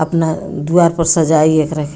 अपना द्वार पे सजाई एकरा के।